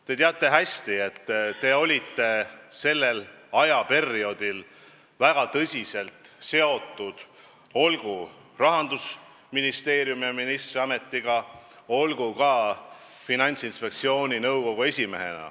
Te teate hästi, et te olite sellel perioodil valdkonnaga väga tihedalt seotud, olgu rahandusministrina, olgu ka Finantsinspektsiooni nõukogu esimehena.